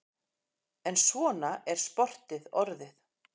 En svona er sportið orðið.